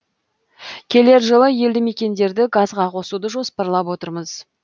келер жылы елді мекендерді газға қосуды жоспарлап отырмыз